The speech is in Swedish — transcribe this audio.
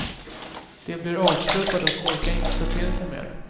De blir avtrubbade och orkar inte ta till sig mer.